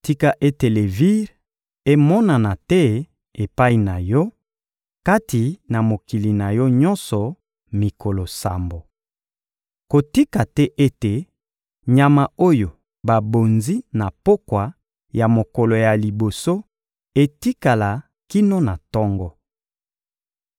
Tika ete levire emonana te epai na yo, kati na mokili na yo nyonso mikolo sambo. Kotika te ete nyama oyo babonzi na pokwa ya mokolo ya liboso etikala kino na tongo.